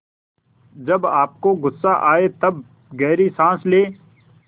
जब आपको गुस्सा आए तब गहरी सांस लें